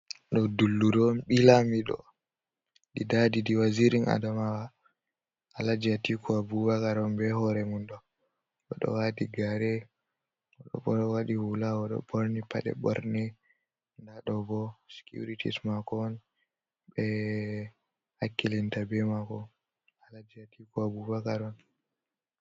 Ɗo dulluru on ɓii lamido ɗiɗaɗi ɗiɗi Wazirin Adamawa Alaji Atiku Abubakar on be hore mumdo oɗo wati gare odo wati hula odo ɓorni paɗe ɓorne nda ɗobo sicuritis mako on ɓe hakkilinta be mako Alaji Atiku Abubakar on.